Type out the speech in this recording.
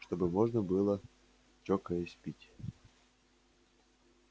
чтобы можно было чокаясь пить